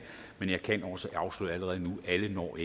men jeg kan også afsløre allerede nu at alle ikke når